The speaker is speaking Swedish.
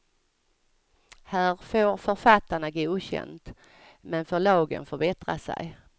Här får författarna godkänt, men förlagen får bättra sig.